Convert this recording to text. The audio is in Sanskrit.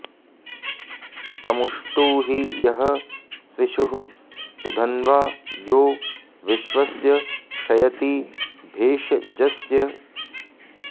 तमु॑ष्टु॒हि॒ यः स्वि॒षुः सु॒धन्वा॒ यो विश्व॑स्य॒ क्षय॑ति भेष॒जस्य॑